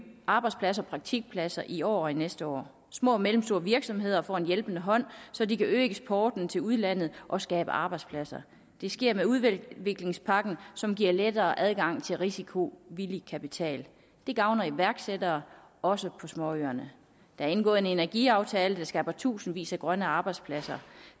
arbejdspladser og praktikpladser i år og næste år små og mellemstore virksomheder får en hjælpende hånd så de kan øge eksporten til udlandet og skabe arbejdspladser det sker med udviklingspakken som giver lettere adgang til risikovillig kapital det gavner iværksættere også på småøerne der er indgået en energiaftale der skaber tusindvis af grønne arbejdspladser